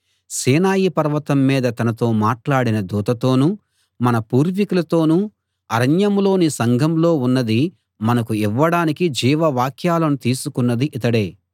సీనాయి పర్వతం మీద తనతో మాట్లాడిన దూతతోనూ మన పూర్వీకులతోనూ అరణ్యంలోని సంఘంలో ఉన్నదీ మనకు ఇవ్వడానికి జీవవాక్యాలను తీసుకున్నదీ ఇతడే